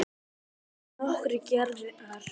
Til eru nokkrar gerðir skema.